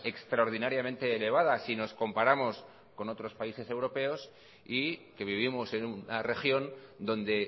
extraordinariamente elevada si nos comparamos con otros países europeos y que vivimos en una región donde